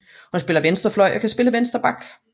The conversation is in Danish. Hun spiller venstre fløj og kan spille venstre back